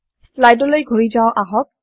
slide লৈ ঘূৰি যাও আহক